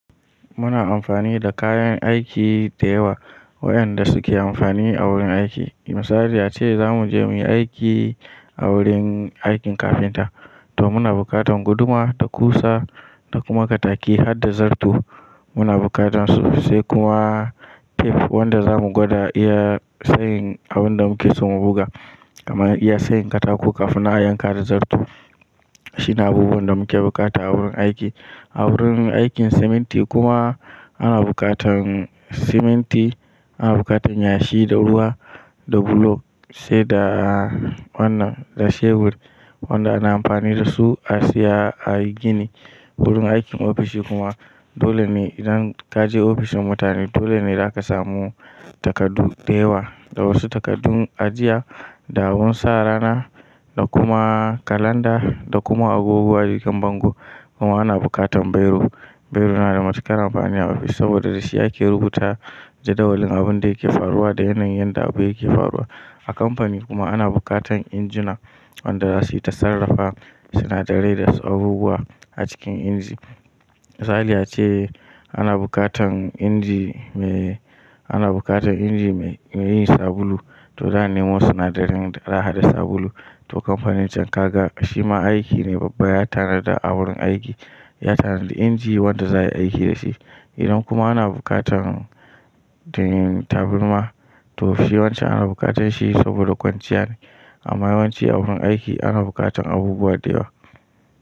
Muna amfani da kayan aiki da yawa waƴanda suke amfani a wurin aiki. Misali ace zamu je muje mu aiki a wurin aikin kafinta, to muna bukatan guduma da ƙusa da kuma kataki har da zarto muna bukatan su sai kuma tef wanda zamu gwada iya tsayin abin da muke so mu buga, amma iya tsayin katako kafin na yanka da zarto. Shi ne abubuwan da muke bukata a wurin aiki. A wurin aikin siminti kuma ana bukatan siminti, ana bukatan yashi da ruwa da bulok sai da wannan da shebur wanda ana amfani da su a siya, a gini. Wurin aikin ofishi kuma dole ne idan kaje ofishin mutane dole ne za ka samu takardu da yawa, da wasu takardun ajiya da abun sa rana da kuma kalanda, da kuma abubuwa jikin bango kuma ana bukatan biro. Biro na da matuƙar amfani a ofis saboda da shi ake rubuta jadawalin abun da yake faruwa da yana yin yadda abu yake faruwa. A kamfani kuma ana bukatan injuna wanda za su yi ta sarrafa sinadarai da abubuwa a cikin inji. Misali ace ana bukatan inji mai, ana bukatan inji mai yin sabulu to zan nemo sinadarin da za hada sabulu to kamfanin can kaga shima aiki ne babba ya tanada a wurin aiki, ya tanada inji wanda za a yi aiki da shi. Idan kuma ana bukatan taburma to shi wance ana bukatan shi saboda kwanciya ne amma yawan ci a wurin aiki ana bukatan abubuwa da yawa.